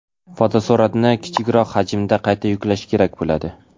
fotosuratni kichikroq hajmda qayta yuklash kerak bo‘ladi.